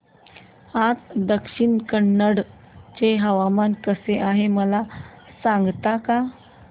आज दक्षिण कन्नड चे हवामान कसे आहे मला सांगता का